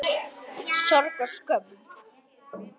Sorg og skömm.